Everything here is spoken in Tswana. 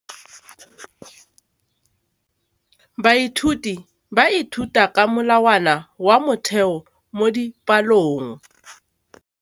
Baithuti ba ithuta ka molawana wa motheo mo dipalong.